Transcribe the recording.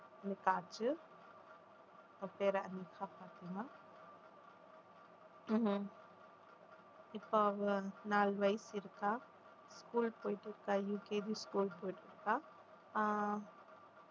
எனக்கு ஆச்சு அவ பேர் ஃபாத்திமா இப்ப அவ நாலு வயசு இருக்கா school போயிட்டிருக்கா UKG school போயிட்டிருக்கா